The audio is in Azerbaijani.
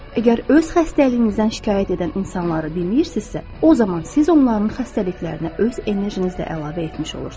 Əgər öz xəstəliyinizdən şikayət edən insanları dinləyirsinizsə, o zaman siz onların xəstəliklərinə öz enerjinizlə əlavə etmiş olursunuz.